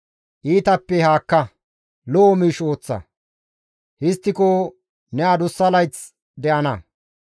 Iitappe haakka; lo7o miish ooththa. Histtiko ne adussa layth de7ana.